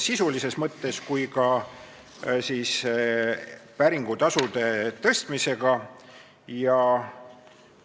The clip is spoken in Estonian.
See puudutas kas kohtumenetlust või registritele juurdepääsu sisulises mõttes ja ka päringutasude tõstmisega seoses.